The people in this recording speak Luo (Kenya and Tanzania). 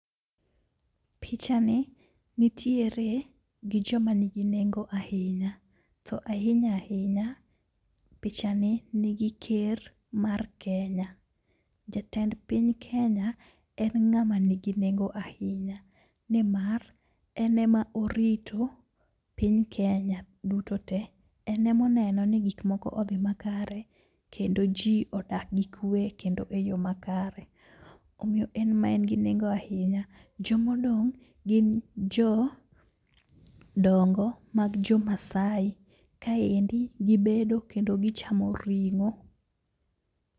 Picha ni nitiere gi joma nigi nengo ahinya, to ahinya ahinya picha ni nigi ker mar Kenya. Jatend piny Kenya en ng'ama nigi nengo ahinya, nimar enema orito piny Kenya duto te. En emoneno ni gik moko odhi makare kendo ji odak gi kwe kendo eyo ma kare, omiyo en ema en gi nengo ahinya. Jomodong' gin jo dongo mag jo Masai, kaendi gibedo kendo gichamo ring'o.